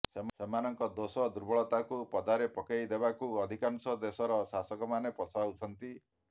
ସେମାନଙ୍କ ଦୋଷଦୁର୍ବଳତାକୁ ପଦାରେ ପକାଇଦେବାକୁ ଅଧିକାଂଶ ଦେଶର ଶାସକମାନେ ପଛଉଛନ୍ତି